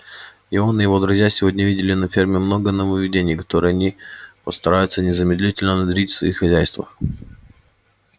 и он и его друзья сегодня видели на ферме много нововведений которые они постараются незамедлительно внедрить в своих хозяйствах